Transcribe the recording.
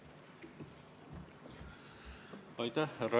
Mida te teate sellest, kuidas teised riigid on seda tüüpi olukordasid lahendanud?